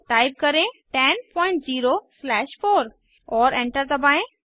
type करें 100 slash 4 और enter दबाएं